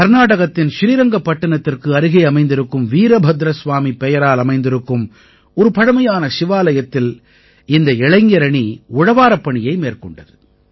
கர்நாடகத்தின் ஸ்ரீரங்கப்பட்டிணத்திற்கு அருகே அமைந்திருக்கும் வீரபத்ரஸ்வாமி பெயரால் அமைந்திருக்கும் ஒரு பழமையான சிவாலயத்தில் இந்த இளைஞரணி உழவாரப்பணியை மேற்கொண்டது